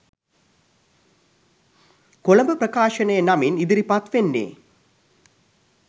කොළඹ ප්‍රකාශනය නමින් ඉදිරිපත් වෙන්නේ.